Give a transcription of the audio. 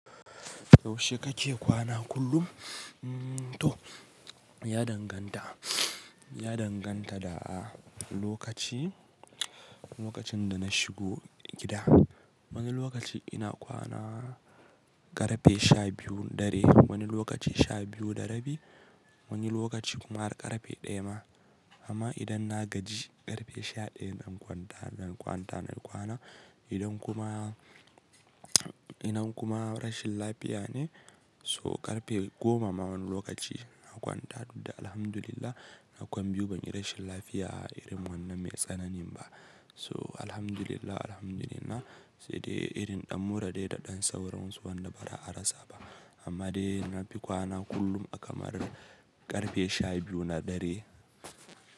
Yaushe kake kwana kullum? To ya danganta, ya danganta da lokaci, lokacin da na shigo gida. Wani lokaci ina kwana ƙarfe sha biyu dare, wani lokaci sha biyu da rabi, wani lokaci kuma har ƙarfe ɗaya ma. Amma idan na gaji ƙarfe sha ɗaya ina kwanta, ina kwana. Idan kuma, idna kuma rashin lafiya ne, so ƙarfe goma ma wani lokaci na kwanta duk da alhamdulillah na kwan biyu ban yi rashin lafiya a irin wannan mai tsanani ba. So alhamdulillah, alhamdulillah sai dai irin ɗan mura dai da ɗan sauransu wanda ba za a ra sa ba. Amma dai na fi kwana kullum a kamar ƙarfe sha biyu na dare.